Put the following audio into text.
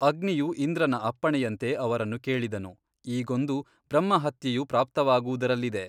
ಅಗ್ನಿಯು ಇಂದ್ರನ ಅಪ್ಪಣೆಯಂತೆ ಅವರನ್ನು ಕೇಳಿದನು ಈಗೊಂದು ಬ್ರಹ್ಮಹತ್ಯೆಯು ಪ್ರಾಪ್ತವಾಗುವುದರಲ್ಲಿದೆ.